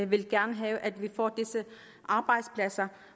vil gerne have at vi får disse arbejdspladser